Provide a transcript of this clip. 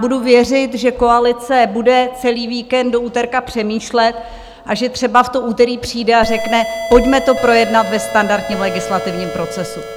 Budu věřit, že koalice bude celý víkend do úterka přemýšlet a že třeba v to úterý přijde a řekne, pojďme to projednat ve standardním legislativním procesu.